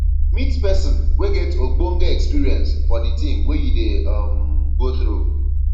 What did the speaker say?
meet person wey get ogbonge experience for di thing wey you dey um go through